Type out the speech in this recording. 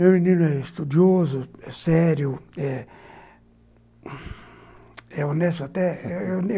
Meu menino é estudioso, é sério, é... honesto até.